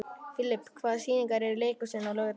Filip, hvaða sýningar eru í leikhúsinu á laugardaginn?